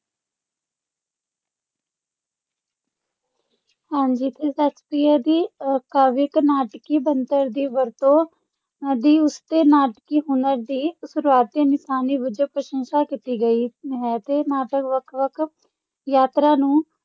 ਹਾਂਜੀ ਤੇ ਸ਼ੇਕਸਪੀਅਰ ਦੀ ਅਹ ਕਾਵਿਕ ਨਾਟਕੀ ਬਣਤਰ ਦੀ ਵਰਤੋਂ ਦੀ ਉਸ ਦੇ ਨਾਟਕੀ ਹੁਨਰ ਦੀ ਸ਼ੁਰੂਆਤੀ ਨਿਸ਼ਾਨੀ ਵਜੋਂ ਪ੍ਰਸ਼ੰਸਾ ਕੀਤੀ ਗਈ ਹੈ ਤੇ ਨਾਟਕ ਵੱਖ-ਵੱਖ ਯਾਤਰਾਂ ਨੂੰ